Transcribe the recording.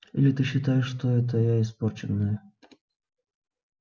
или ты считаешь что это я испорченная